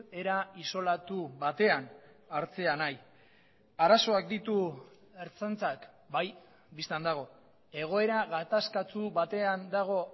era isolatu batean hartzea nahi arazoak ditu ertzaintzak bai bistan dago egoera gatazkatsu batean dago